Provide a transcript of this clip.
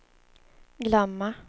glömma